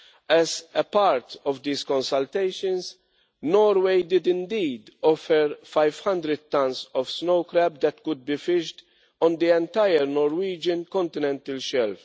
As a part of these consultations, Norway did indeed offer 500 tons of snow crab which could be fished on the entire Norwegian continental shelf.